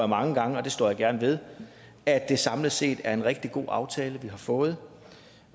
mange gange og det står jeg gerne ved at det samlet set er en rigtig god aftale vi har fået